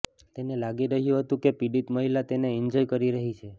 તેને લાગી રહ્યું હતું કે પીડિત મહિલા તેને એન્જોય કરી રહી છે